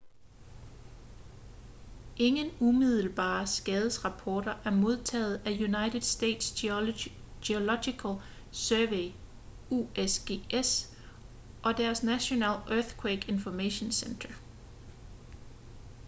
ingen umiddelbare skadesrapporter er modtaget af united states geological survey usgs og deres national earthquake information center